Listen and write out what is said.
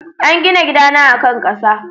An gina gidana a kan ƙasa.